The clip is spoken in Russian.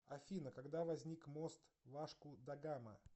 афина когда возник мост вашку да гама